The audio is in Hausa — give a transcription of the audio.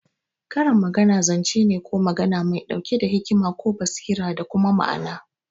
Karin magana zance ne ko magana mai ɗauke da hikima ko basira da kuma ma'ana.